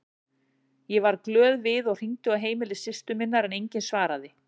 Ég varð glöð við og hringdi á heimili systur minnar en enginn svaraði.